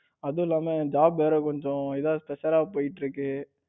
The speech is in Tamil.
அதும் இல்லாம job வேற கொஞ்சம் இதா suffer றா போயிட்டு இருக்கு.